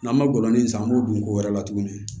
N'an ma gɔbɔni san an b'o dun ko wɛrɛ la tuguni